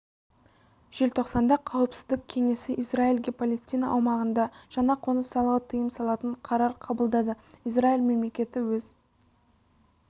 желтоқсанда қауіпсіздік кеңесі израильге палестина аумағында жаңа қоныс салуға тыйым салатын қарар қабылдады изралиь мемлекеті өз